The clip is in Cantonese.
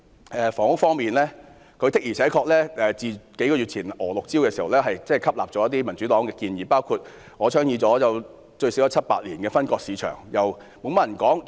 在房屋方面，自數月前推出的"娥六招"後，施政報告的確吸納了民主黨的部分建議，包括我倡議了最少七八年的"分割市場"措施。